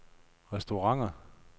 restauranter